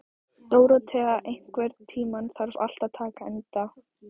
Dórótea, einhvern tímann þarf allt að taka enda.